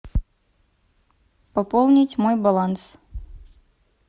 пополнить мой баланс